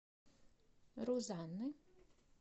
рузанны